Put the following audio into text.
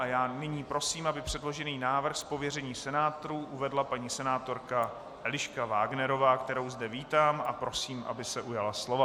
A já nyní prosím, aby předložený návrh z pověření senátorů uvedla paní senátorka Eliška Wagnerová, kterou zde vítám a prosím, aby se ujala slova.